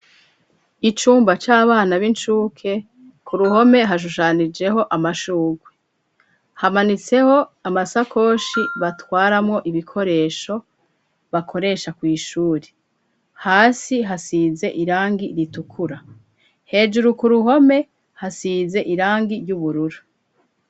Icumba c'abana b'inshuke ku ruhome hashushanijeho amashugwe hamanitseho amasakoshi batwaramo ibikoresho bakoresha kw'ishuri hasi hasize irangi ritukura hejuru ku ruhome hasize irangi ry'ubururu.